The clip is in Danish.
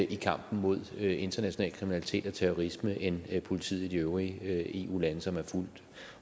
i kampen mod international kriminalitet og terrorisme end politiet i de øvrige eu lande som er fuldt